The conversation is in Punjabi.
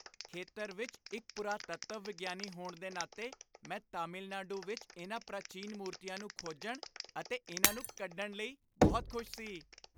ਖੇਤਰ ਵਿੱਚ ਇੱਕ ਪੁਰਾਤੱਤਵ ਵਿਗਿਆਨੀ ਹੋਣ ਦੇ ਨਾਤੇ, ਮੈਂ ਤਾਮਿਲਨਾਡੂ ਵਿੱਚ ਇਹਨਾਂ ਪ੍ਰਾਚੀਨ ਮੂਰਤੀਆਂ ਨੂੰ ਖੋਜਣ ਅਤੇ ਇਹਨਾਂ ਨੂੰ ਕੱਢਣ ਲਈ ਬਹੁਤ ਖੁਸ਼ ਸੀ